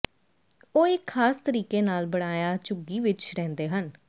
ਉਹ ਇੱਕ ਖਾਸ ਤਰੀਕੇ ਨਾਲ ਬਣਾਇਆ ਝੁੱਗੀ ਵਿਚ ਰਹਿੰਦੇ ਹਨ